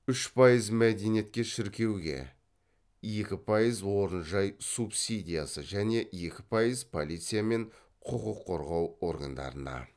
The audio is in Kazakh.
үш пайыз мәдениетке шіркеуге екі пайыз орын жай субсидиясы және екі пайыз полиция мен құқық қорғау органдарына